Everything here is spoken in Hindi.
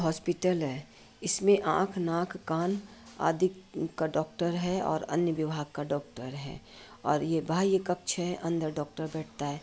हॉस्पिटल है। इसमे आँख नाक कान आदि का डॉक्टर है और अन्य विभाग का डॉक्टर है। और यह बाह्य कक्ष है। अंदर डॉक्टर बैठता है।